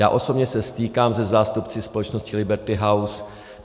Já osobně se stýkám se zástupci společnosti Liberty House.